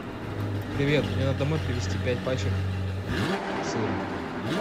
привет мне надо домой привезти пять пачек сыра